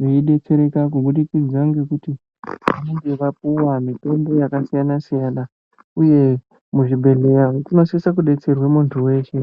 veidetsereka kubudikidza ngekuti vanenge vapuwa mitombo yakasiyana -siyana, uye muzvibhehleya munosise kudetserwe muntu weshe.